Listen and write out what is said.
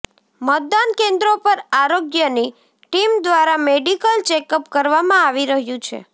મતદાન કેન્દ્રો પર આરોગ્યની ટીમ દ્વારા મેડીકલ ચેકઅપ કરવામાં આવી રહ્યુ છે